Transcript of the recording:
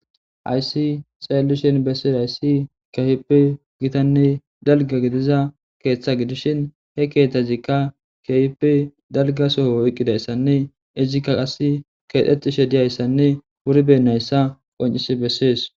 hayssi xeellishin bessira hayssi kehipi gitanne dalga gidiza keeththa gidishin he keetazikka kehipi dalga soho oyqqidayssanne izikka qas keedhexishe diyayssanne wuribennayssa qoncisi bessees